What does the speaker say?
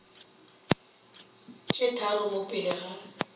tse tharo mo pele ga